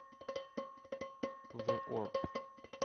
зэ орб